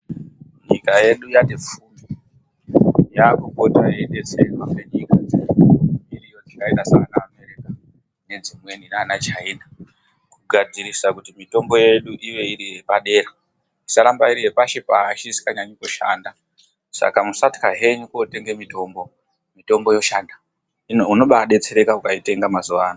Nyika yedu yaupota yeidetserwa nedzimweni nyika dzemhiri dzakaita saanaAmerica, nguwa dzimweni China kugadzirisa kuti mitombo yedu irambe iri yepadera, isaaramba iri yepashi pashi isinganasi kushanda. Saka musatya henyu kootenga mitombo. Mitombo yoshanda unobaadetsereka ukaitenga mazuwa ano.